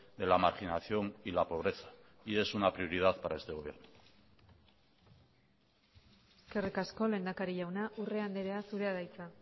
de la marginación y la pobreza y es una prioridad para este gobierno eskerrik asko lehendakari jauna urrea andrea zurea da hitza